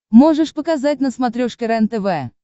можешь показать на смотрешке рентв